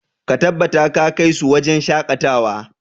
Ka tabbata ka kai su wajen shakatawa!